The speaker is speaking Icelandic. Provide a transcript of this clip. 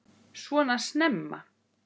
Svona snemma?